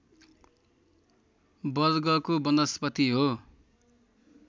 वर्गको वनस्पति हो